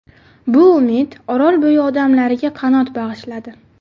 Bu umid Orolbo‘yi odamlariga qanot bag‘ishladi.